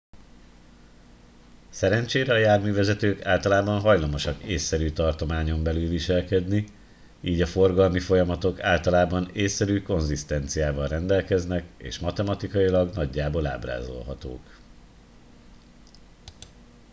szerencsére a járművezetők általában hajlamosak ésszerű tartományon belül viselkedni így a forgalmi folyamatok általában ésszerű konzisztenciával rendelkeznek és matematikailag nagyjából ábrázolhatók